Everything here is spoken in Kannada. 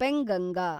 ಪೆಂಗಂಗಾ